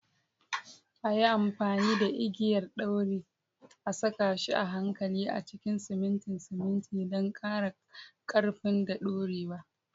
A yi amfani da igiyar ɗauri a saka shi a hankali a cikin simintin simintin don ƙara ƙarfinsa da dorewa.